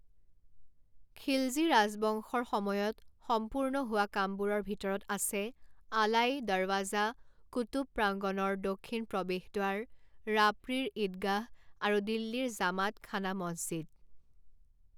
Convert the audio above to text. খিলজী ৰাজবংশৰ সময়ত সম্পূৰ্ণ হোৱা কামবোৰৰ ভিতৰত আছে আলাই দৰৱাজা কুতুব প্ৰাংগণৰ দক্ষিণ প্ৰৱেশদ্বাৰ ৰাপৰিৰ ঈদগাহ আৰু দিল্লীৰ জামাত খানা মছজিদ।